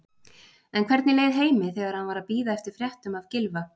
En hvernig leið Heimi þegar hann var að bíða eftir fréttum af Gylfa?